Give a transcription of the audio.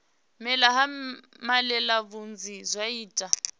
mela ha malelebvudzi zwa ita